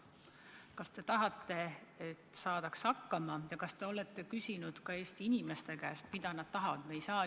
Kas te tahate, et saadaks hakkama, ja kas te olete küsinud ka Eesti inimeste käest, mida nad tahavad?